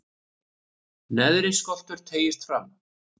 neðri skoltur teygist fram